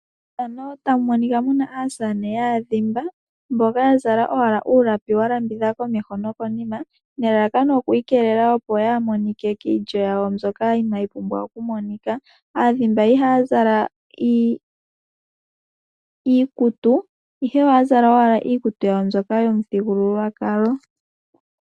Mefano otamu monika muna aasamane yaadhimba. Mboka ya zala owala ulapi wa landula komeho nokonima. Nelalakano oku ikelela yaa monike kiilyo yawo mbyoka inayi pumbwa oku monika. Aadhimba iha ya zala iikutu ihe ohaya zala owala iikutu yawo mbyoka yomuthigululwakalo.